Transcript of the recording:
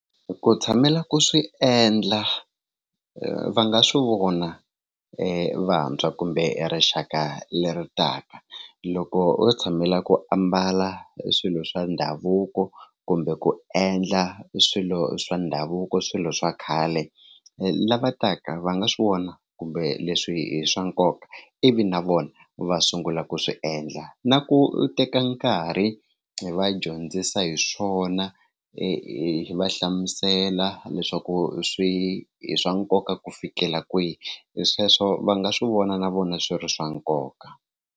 Ku tshamela ku swi endla va nga swi vona vantshwa kumbe rixaka leri taka loko u tshamela ku ambala swilo swa ndhavuko kumbe ku endla swilo swa ndhavuko swilo swa khale lava taka va nga swi vona kumbe leswi i swa nkoka ivi na vona va sungula ku swi endla na ku teka nkarhi hi va dyondzisa hi swona swona hi va hlamusela leswaku swi i swa nkoka ku fikela kwihi hi sweswo va nga swi vona na vona swi ri swa nkoka.